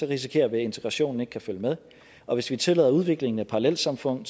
risikerer vi at integrationen ikke kan følge med og hvis vi tillader udvikling af parallelsamfund